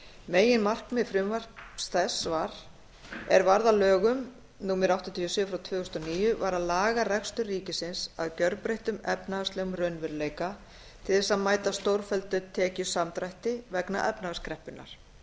meginmarkmið frumvarps þess er varð að lögum númer áttatíu og sjö tvö þúsund og níu var að laga rekstur ríkisins að gjörbreyttum efnahagslegum raunveruleika til þess að mæta stórfelldum tekjusamdrætti vegna efnahagskreppunnar